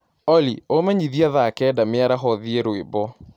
olly umenyĩthĩe thaa kenda mĩaraho thĩe rwĩmbo